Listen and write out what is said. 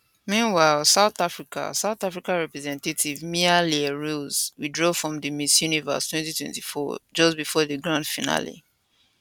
meanwhile south africa south africa representative mia le roux withdraw from di miss universe 2024 competition just before di grand finale